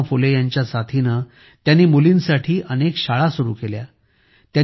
महात्मा फुले यांच्या साथीने त्यांनी मुलींसाठी अनेक शाळा सुरु केल्या